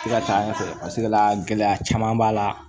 I ka taa ɲɛfɛ pasekekɛlɛla gɛlɛya caman b'a la